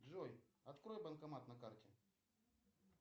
джой открой банкомат на карте